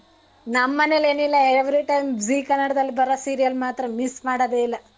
ನಮ್ ಮನೇಲ್ ಏನ್ ಇಲ್ಲ every time zee ಕನ್ನಡದಲ್ ಬರೋ serial ಮಾತ್ರ miss ಮಾಡೋದೇ ಇಲ್ಲ.